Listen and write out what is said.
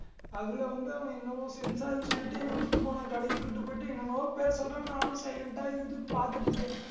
அதுல வந்து அவன் என்னவோ sensor ன்னு சொல்லிட்டு என்னை கூட்டிட்டு போனான் கடைக்கு கூட்டிட்டு போயிட்டு என்னென்னமோ பேர் சொல்றான் நானும் silent ஆ இருக்குது பார்த்துட்டு இருக்கேன்